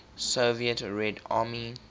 soviet red army